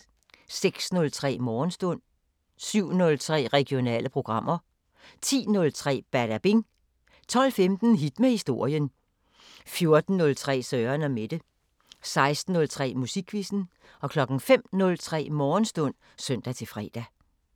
06:03: Morgenstund 07:03: Regionale programmer 10:03: Badabing 12:15: Hit med historien 14:03: Søren & Mette 16:03: Musikquizzen 05:03: Morgenstund (søn-fre)